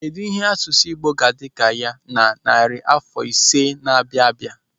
Kedụ ihe asụsụ Igbo ga-adị ka ya na narị afọ ise na na-abịa?